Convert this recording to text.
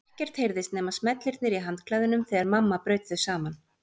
Ekkert heyrðist nema smellirnir í handklæðunum þegar mamma braut þau saman.